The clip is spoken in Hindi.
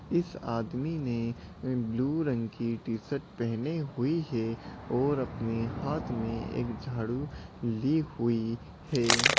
इस आदमी ने ब्लू रंग की टी-शर्ट पहने हुई है और अपने हाथ में एक झाड़ू ली हुई है।